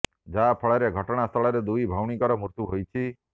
ଯାହା ଫଳରେ ଘଟଣା ସ୍ଥଳରେ ଦୁଇ ଭଉଣୀଙ୍କର ମୃତ୍ୟୁ ହୋଇଛି